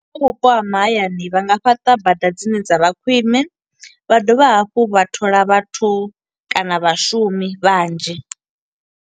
Kha vhupo ha mahayani vha nga fhaṱa bada dzine dza vha khwiṋe, vha dovha hafhu vha thola vhathu kana vhashumi vhanzhi.